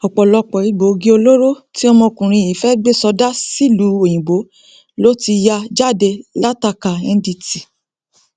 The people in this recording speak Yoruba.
ọpọlọpọ egbòogi olóró tí ọmọkùnrin yìí fẹẹ gbé sọdá sílùú òyìnbó ló ti ya jáde látakà ndtea